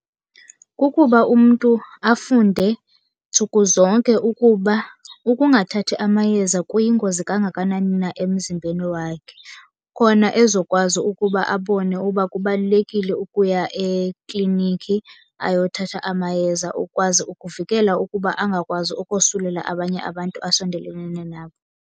Kukuba umntu afunde ntsuku zonke ukuba ukungathathi amayeza kuyingozi kangakanani na emzimbeni wakhe. Khona ezokwazi ukuba abone uba kubalulekile ukuya ekliniki ayothatha amayeza. Ukwazi ukuvikela ukuba angakwazi ukosulela abanye abantu asondelelene nabo.